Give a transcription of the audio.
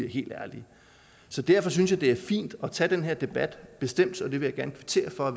helt ærlige derfor synes jeg det er fint at tage den her debat bestemt vil jeg gerne kvittere for